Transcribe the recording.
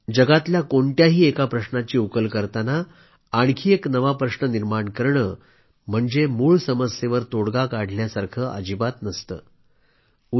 दुनियेतल्या कोणत्याही एका प्रश्नाची उकल करताना आणखी एक नवा प्रश्न निर्माण करणे म्हणजे मूळ समस्येवर तोडगा काढल्यासारखे अजिबात नसते